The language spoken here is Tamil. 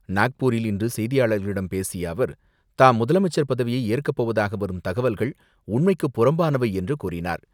நாக்பூரில் இன்று செய்தியாளர்களிடம் பேசிய அவர், தாம் முதலமைச்சர் பதவியை ஏற்கப்போவதாக வரும் தகவல்கள் உண்மைக்கு புறம்பானவை என்று கூறினார்.